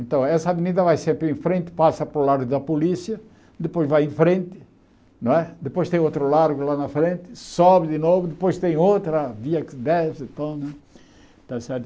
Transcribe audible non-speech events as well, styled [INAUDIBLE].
Então, essa avenida vai sempre em frente, passa para o Largo da Polícia, depois vai em frente não é, depois tem outro Largo lá na frente, sobe de novo, depois tem outra, via que desce, [UNINTELLIGIBLE] et cétera.